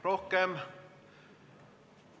Rohkem ...